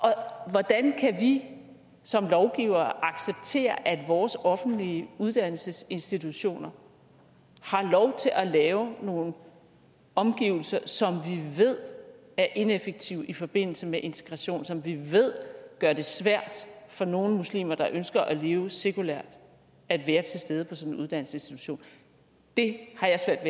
hvordan kan vi som lovgivere acceptere at vores offentlige uddannelsesinstitutioner har lov til at lave nogle omgivelser som vi ved er ineffektive i forbindelse med integration som vi ved gør det svært for nogle muslimer der ønsker at leve sekulært at være til stede på sådan en uddannelsesinstitution det har jeg